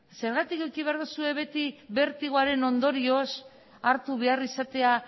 zergatik eduki behar duzue beti bertigoaren ondorioz hartu behar izatea